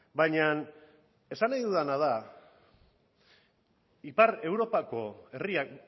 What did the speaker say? baina esan nahi dudana da ipar europako herriak